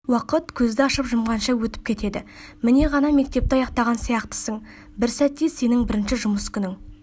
уақыт көзді ашып-жұмғанша өтіп кетеді міне ғана мектепті аяқтаған сияқтысын бір сәтте сенің бірінші жұмыс күнін